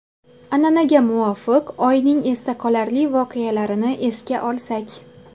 An’anaga muvofiq oyning esda qolarli voqealarini esga olsak.